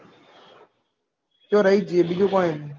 તો રહી જયીયે બીજું point